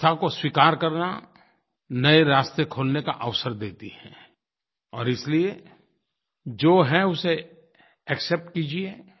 अवस्था को स्वीकार करना नए रास्ते खोलने का अवसर देती है और इसलिए जो है उसे एक्सेप्ट कीजिए